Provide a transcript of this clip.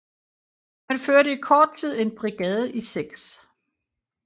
Han førte i kort tid en brigade i 6